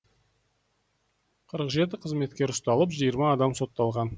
қырық жеті қызметкер ұсталып жиырма адам сотталған